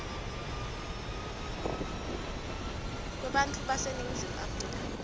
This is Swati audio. kwebantfu baseningizimu afrika